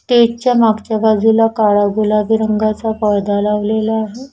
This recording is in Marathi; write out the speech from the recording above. स्टेजच्या मागच्या बाजूला काळा गुलाबी रंगाचा पौद्धा लावलेला आहे.